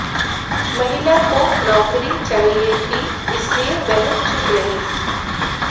महिला को नौकरी चाहिए थी इसलिए वह चुप रही